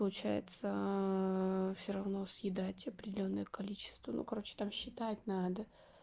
получается всё равно съедать определённое количество ну короче там считать надо